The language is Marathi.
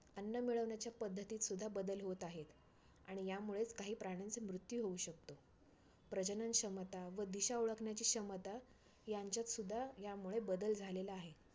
अन्न मिळवण्याच्या पद्धतीत सुद्धा बदल होत आहेत. आणि यामुळेच काही प्राण्यांचा मृत्यू होऊ शकतो. प्रजनन क्षमता व दिशा ओळखण्याची क्षमता यांच्यात सुद्धा यामुळे बदल झालेला आहे.